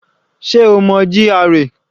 Sé o mọ GRA?